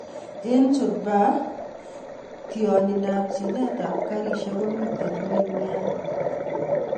En jodhphur tionindab chilet ab karishek komiten ngweny nia